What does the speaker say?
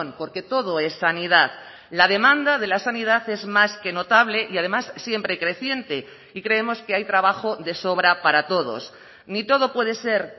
porque todo es sanidad la demanda de la sanidad es más que notable y además siempre creciente y creemos que hay trabajo de sobra para todos ni todo puede ser